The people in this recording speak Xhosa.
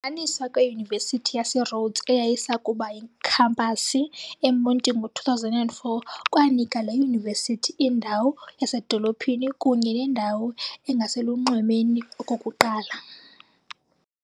Ukuhlanganiswa kweYunivesithi yaseRhodes eyayisakuba yikhampasi eMonti ngo2004 kwanika le yunivesithi indawo yasedolophini kunye nendawo engaselunxwemeni okokuqala.